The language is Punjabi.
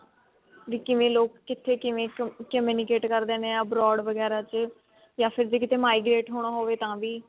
ਵੀ ਕਿਵੇਂ ਲੋਕ ਕਿੱਥੇ ਕਿਵੇਂ communicate ਕਰਦੇ ਹਾਂ abroad ਵਗੇਰਾ ਚ ਯਾ ਫ਼ੇਰ ਕਿਤੇ migrate ਹੋਣਾ ਹੋਵੇ ਤਾਂ ਵੀ